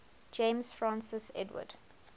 james francis edward